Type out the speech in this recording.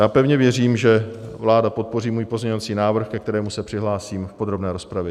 Já pevně věřím, že vláda podpoří můj pozměňovací návrh, ke kterému se přihlásím v podrobné rozpravě.